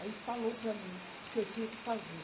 Aí falou para mim o que eu tinha que fazer.